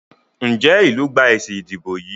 Njé ilú gbà èsì ìdìbò yí?